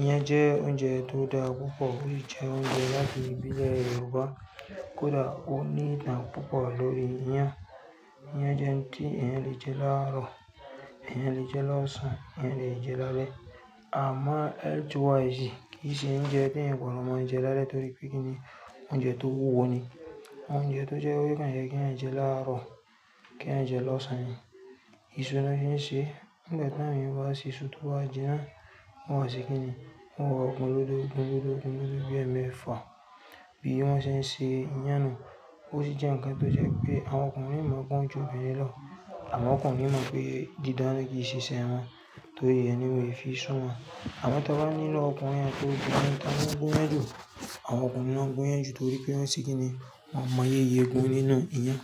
Iyán jẹ́ oúnjẹ tó dára púpọ̀ ó si jẹ́ oúnjẹ láti ìbílẹ̀ Yorùbá. Kódà ó ní ìtàn púpọ̀ lórí iyán. Iyán jẹ́ ohun tí èèyàn le jẹ́ láàárọ̀, èèyàn le jẹ́ lọ́sàn-án, èèyàn le jẹ́ lálẹ́. Àmọ́, kì í ṣe oúnjẹ pé èèyàn gbọdọ̀ máa jẹ́ lálẹ́ torí pé kí ni, oúnjẹ tó wúwo ni. Oúnjẹ tó jẹ́ wípé objan ye kí ẹ̀yàn jẹ́ láàárọ̀, kí ẹ̀yàn jẹ́ lọ́sàn-án. Ìṣu ni won fi ń ṣe. Nígbà tí àwọn èèyàn bá se isú tó ba jinà, wọ́n máa ṣe kí ni? Wọ́n wa gun kodo gun lọ́dọ̀ gun lọ́dọ̀ bí ẹ́ mẹ́fà bí wọ́n ṣe ń ṣe iyán nù. Ó sì jẹ́ nǹkan tó jẹ́ pé àwọn ọkùnrin mọ̀ ọ́n gun ju obìnrin lọ. Àwọn ọkùnrin mọ̀ pé dídáná kì í ṣe iṣẹ́ won torí re ni won ò fi sún mọn. Àmọ́ tí a ba ni, nínú ọkùnrinat obìnrin ta ni o gun iyán jù? Àwọn ọkùnrin ló ń man gunyan jù torí pé wọ́n ṣe kí ni? Wọ́n mọ yeye gún nínú iyán.